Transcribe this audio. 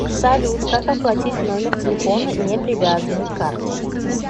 салют как оплатить номер телефона не привязанный к карте